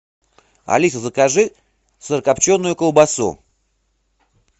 алиса закажи сырокопченую колбасу